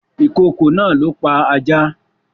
Ìkokò náà ló pa ajá